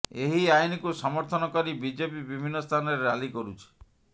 ଏହି ଆଇନକୁ ସମର୍ଥନ କରି ବିଜେପି ବିଭିନ୍ନ ସ୍ଥାନରେ ରାଲି କରୁଛି